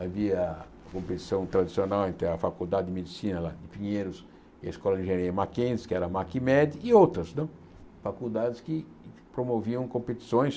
Havia a competição tradicional entre a Faculdade de Medicina lá de Pinheiros e a Escola de Engenharia Mackenzie, que era a MacMed, e outras né faculdades que promoviam competições.